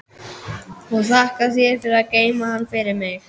Og þakka þér fyrir að geyma hann fyrir mig.